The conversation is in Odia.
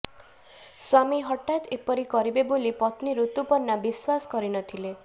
ସ୍ୱାମୀ ହଠାତ୍ ଏପରି କରିବେ ବୋଲି ପତ୍ନୀ ଋତୁପର୍ଣ୍ଣା ବିଶ୍ୱାସ କରିନଥିଲେ